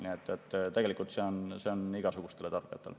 Nii et tegelikult see on igasugustele tarbijatele.